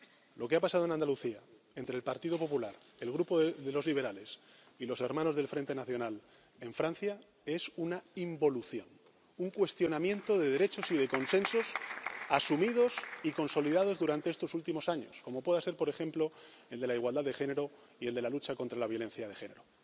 país. Lo que ha pasado en Andalucía entre el Partido Popular, el Grupo de los Liberales y los hermanos del Frente Nacional en Francia es una involución, un cuestionamiento de derechos y de consensos asumidos y consolidados durante estos últimos años, como pueda ser, por ejemplo, el de la igualdad de género y el de la lucha contra la violencia de género.